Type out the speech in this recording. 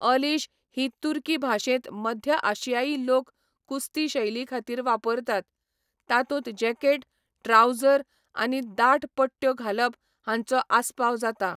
अलीश ही तुर्की भाशेंत मध्य आशियाई लोक कुस्ती शैलीखातीर वापरतात, तातूंत जॅकेट, ट्राउझर आनी दाट पट्ट्यो घालप हांचो आस्पाव जाता.